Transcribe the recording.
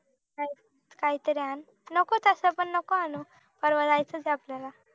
काय तरी आण नको तस पण नको आणू पर्वा जायचं च आहे आपल्याला